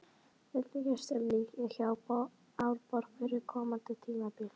Hvernig er stemningin hjá Árborg fyrir komandi tímabil?